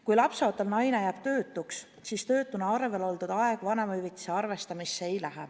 Kui lapseootel naine jääb töötuks, siis töötuna arvel oldud aeg vanemahüvitise arvestamisel arvesse ei lähe.